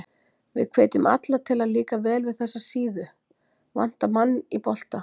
Við hvetjum alla til að líka vel við þessa síðu, Vantar mann í bolta?